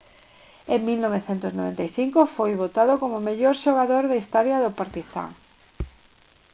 en 1995 foi votado como o mellor xogador na historia do partizan